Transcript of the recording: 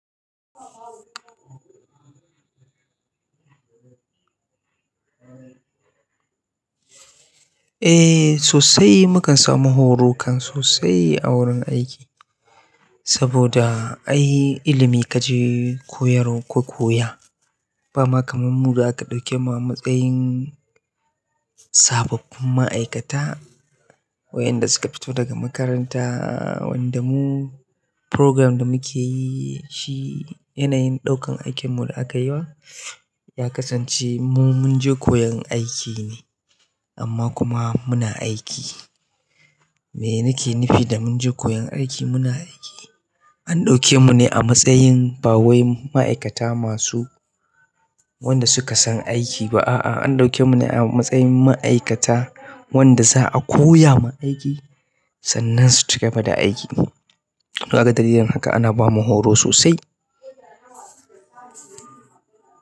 Eh sosai, mukan samu horo kan sosai a wurin aiki. Saboda ai ilimi kaje koyar ka koya, ba ma kamar mu da aka ɗauke mu a matsayin sababbin ma'aikata waɗanda suka fito daga makaranta. Wanda mu programme da muke yi shi yanayin ɗaukan aikin mu da aka yi wa ya kasance mu mun je koyon aiki ne amma kuma muna aiki. Me nike nufi da mun je koyon aiki muna aiki? An ɗauke mu ne a matsayin ba wai ma'aikata masu wanda suka san aiki ba a'a, an ɗauke mu ne a matsayin ma'aikata wanda za'a koya ma aiki sannan su cigaba da aiki. Kaga dalilin haka ana bamu horo sosai.